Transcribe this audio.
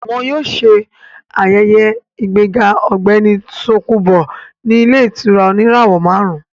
Wọ́n yóò ṣe ayẹyẹ ìgbéga ọ̀gbẹ́ni Tòkunbọ̀ ní ilé ìtura oníràwọ̀ máàrún